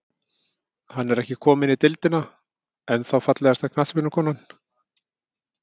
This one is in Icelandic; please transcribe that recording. Hann er ekki kominn í deildina, ennþá Fallegasta knattspyrnukonan?